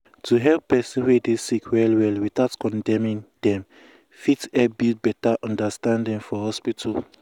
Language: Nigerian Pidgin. to hear person wey dey sick well well without condemning dem fit help build beta understanding for hospital.